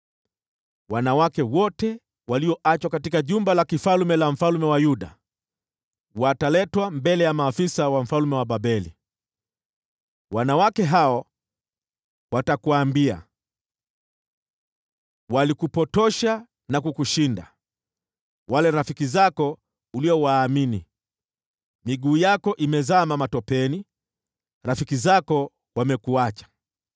Wanawake wote walioachwa katika jumba la kifalme la mfalme wa Yuda wataletwa mbele ya maafisa wa mfalme wa Babeli. Wanawake hao watakuambia: “ ‘Walikupotosha na kukushinda, wale rafiki zako uliowaamini. Miguu yako imezama matopeni; rafiki zako wamekuacha.’